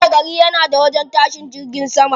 Kowani gari yana da wajen tashin jiragen sama.